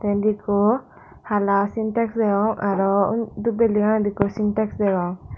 te indi ekko hala sintex deong araw uni dub belding ano di ekko sintex deong.